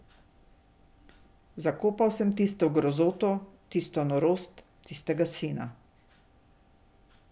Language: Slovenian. Zakopal sem tisto grozoto, tisto norost, tistega sina.